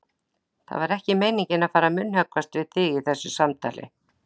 Það var ekki meiningin að fara að munnhöggvast við þig í þessu samtali.